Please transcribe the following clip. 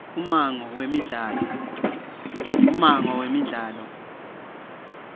ummango wemidlalo